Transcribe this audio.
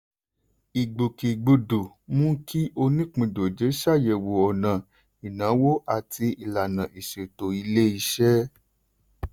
ìgbòkègbodò mú kí onípìndòjé ṣàyẹ̀wò ọ̀nà ìnáwó àti ìlànà ìṣètò ilé-iṣẹ́.